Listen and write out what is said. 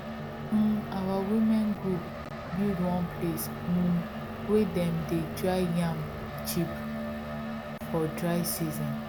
um our women group build one place um wey dem dey dry yam chip for dry season